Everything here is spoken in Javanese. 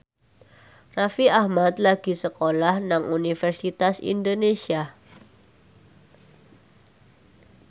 Raffi Ahmad lagi sekolah nang Universitas Indonesia